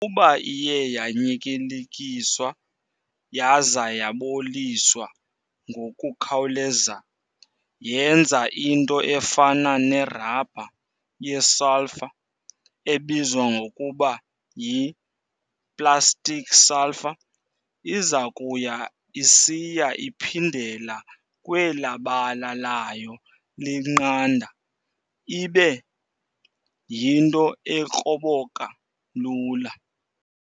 Ukuba iye yanyityilikiswa yaza yaboliswa ngokukhawuleza, yenza into efana ne-rubber ye-sulphur ebizwa ngokuba y"i-plastic sulfur". Izakuya isiya iphindela kwela bala layo liqanda ibe yinto ekroboka lula.